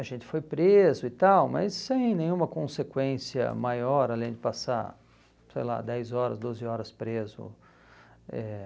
A gente foi preso e tal, mas sem nenhuma consequência maior, além de passar, sei lá, dez horas, doze horas preso. Eh